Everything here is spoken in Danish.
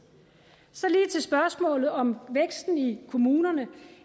så lige til spørgsmålet om væksten i kommunerne